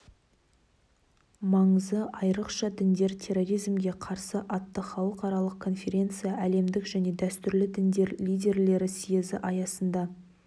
маңызы айрықша діндер терроризмге қарсы атты халықаралық конференция әлемдік және дәстүрлі діндер лидерлері съезі аясында